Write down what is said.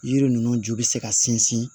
Yiri ninnu ju bɛ se ka sinsin